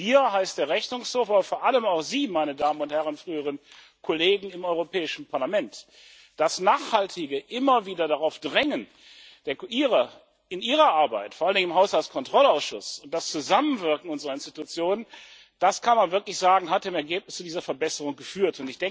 Wir, das heißt der Rechnungshof, aber vor allem auch Sie, meine Damen und Herren früheren Kollegen im Europäischen Parlament. Das nachhaltige Immer wieder darauf Drängen in ihrer Arbeit vor allen Dingen im Haushaltskontrollausschuss und das Zusammenwirken unserer Organe das kann man wirklich sagen haben im Ergebnis zu dieser Verbesserung geführt.